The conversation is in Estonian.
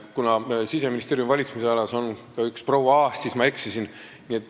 Kuna Siseministeeriumi valitsemisalas on ka üks proua Aas, siis ma eksisin.